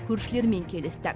көршілермен келісті